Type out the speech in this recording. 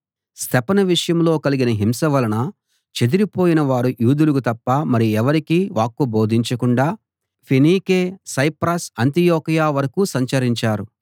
స్తెఫను విషయంలో కలిగిన హింస వలన చెదరిపోయిన వారు యూదులకు తప్ప మరి ఎవరికీ వాక్కు బోధించకుండా ఫేనీకే సైప్రస్ అంతియొకయ వరకూ సంచరించారు